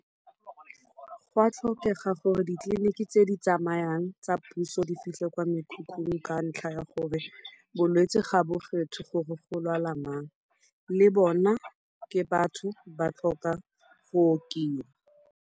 Go a tlhokega gore ditleliniki tse di tsamayang tsa puso di fitlhe kwa mekhukhung ka ntlha ya gore bolwetsi ga bo kgethe gore go lwala mang, le bona ke batho ba tlhoka go okiwa.